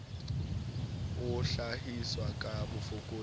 e hlahiswa ka bofokodi bo